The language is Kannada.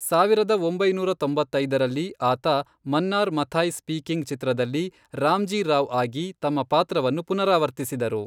ಸಾವಿರದ ಒಂಬೈನೂರ ತೊಂಬತ್ತೈದರಲ್ಲಿ, ಆತ ಮನ್ನಾರ್ ಮಥಾಯ್ ಸ್ಪೀಕಿಂಗ್ ಚಿತ್ರದಲ್ಲಿ ರಾಮ್ಜೀ ರಾವ್ ಆಗಿ ತಮ್ಮ ಪಾತ್ರವನ್ನು ಪುನರಾವರ್ತಿಸಿದರು.